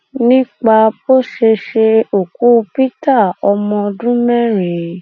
nípa bó ṣe ṣe òkú peter ọmọ ọdún mẹrin